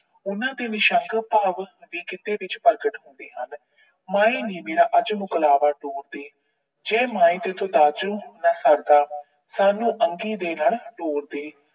ਉਹਨਾਂ ਦੇ ਸ਼ੰਕ ਭਾਵ ਗਿੱਧੇ ਵਿੱਚ ਪ੍ਰਗਟ ਹੁੰਦੇ ਹਨ। ਮਾਏ ਨੀ ਮੇਰਾ ਅੱਜ ਮਕਲਾਬਾ ਤੋਰ ਦੇ। ਜੇ ਮਾਏ ਤੇਰੇ ਤੋਂ ਦਾਜੂ ਨਾ ਸਰਦਾ, ਸਾਨੂੰ ਅੰਗੀ ਦੇ ਨਾਲ ਤੋਰ ਦੇ।